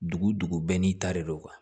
Dugu dugu bɛɛ n'i ta de don